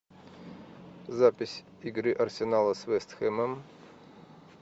запись игры арсенала с вест хэмом